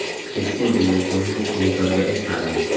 Keskin degan so‘zni bekorga aytmadim.